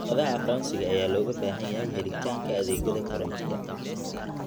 Warqadaha aqoonsiga ayaa looga baahan yahay helitaanka adeegyada korontada.